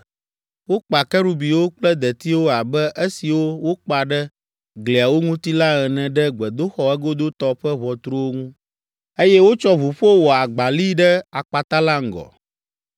Wokpa kerubiwo kple detiwo abe esiwo wokpa ɖe gliawo ŋuti la ene ɖe gbedoxɔ egodotɔ ƒe ʋɔtruwo ŋu, eye wotsɔ ʋuƒo wɔ agbali ɖe akpata la ŋgɔ.